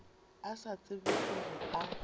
a sa tsebe gore a